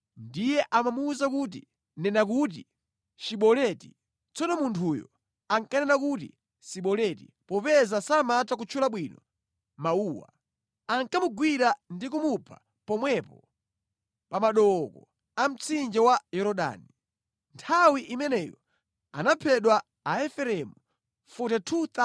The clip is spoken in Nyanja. Ndiye amamuwuza kuti, “Nena kuti ‘Shiboleti.’ ” Tsono munthuyo akanena kuti Siboleti popeza samatha kutchula bwino mawuwa, ankamugwira ndi kumupha pomwepo pa madooko a mtsinje wa Yorodani. Nthawi imeneyo anaphedwa Aefereimu 42,000.